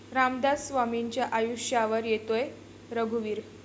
रामदास स्वामींच्या आयुष्यावर येतोय 'रघुवीर'